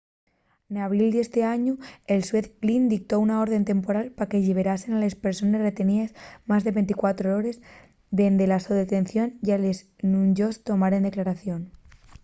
n'abril d'esti añu el xuez glynn dictó una orde temporal pa que lliberaren a les persones reteníes más de 24 hores dende la so detención y a les que nun-yos tomaren declaración